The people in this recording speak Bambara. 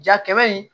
Ja kɛmɛ in